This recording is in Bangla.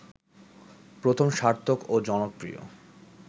প্রথম সার্থক ও জনপ্রিয়